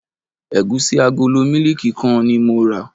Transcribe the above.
Ẹ̀gúsí agolo mílíìkì kan ni mo rà.